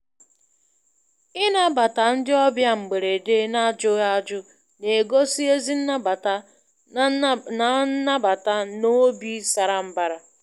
Ịnabata ndị obịa mgberede n'ajụghị ajụjụ na-egosị ezi nnabata na nnabata na óbi sárá mbara.